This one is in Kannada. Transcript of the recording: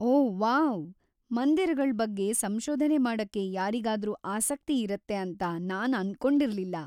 ಓ ವಾವ್‌, ಮಂದಿರಗಳ್‌ ಬಗ್ಗೆ ಸಂಶೋಧನೆ ಮಾಡಕ್ಕೆ ಯಾರಿಗಾದ್ರೂ ಆಸಕ್ತಿ ಇರುತ್ತೆ ಅಂತ ನಾನ್‌ ಅಂದ್ಕೊಂಡಿರ್ಲಿಲ್ಲ.